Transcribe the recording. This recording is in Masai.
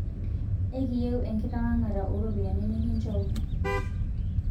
Ekiyieu enkitawang'ata oo ropiyiani nikinchooki